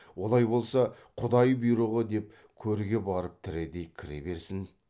олай болса құдай бұйрығы деп көрге барып тірідей кіре берсін